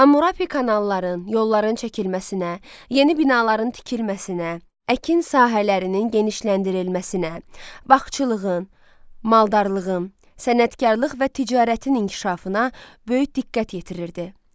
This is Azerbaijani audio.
Hammurapi kanalların, yolların çəkilməsinə, yeni binaların tikilməsinə, əkin sahələrinin genişləndirilməsinə, bağçılığın, maldarlığın, sənətkarlıq və ticarətin inkişafına böyük diqqət yetirirdi.